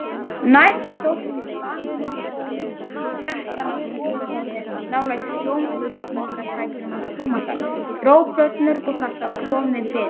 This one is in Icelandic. Næst sótti hún grammófóninn og setti hann í stofuhornið nálægt hljómflutningstækjunum hans Tómasar, dró plöturnar upp úr kassa og kom þeim fyrir.